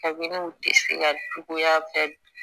Kabini u dɛsɛ cogoya bɛ